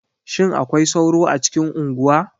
Shin akwai sauro a cikin unguwa?